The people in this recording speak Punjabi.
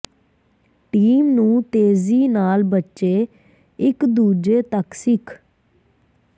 ਟੀਮ ਨੂੰ ਤੇਜ਼ੀ ਨਾਲ ਬੱਚੇ ਇਕ ਦੂਜੇ ਤੱਕ ਸਿੱਖ